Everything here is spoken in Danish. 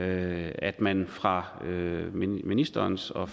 at at man fra ministerens og